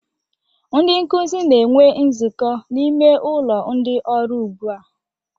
Ndị nkuzi na-enwe nzukọ n'ime ụlọ ndị ọrụ ugbu a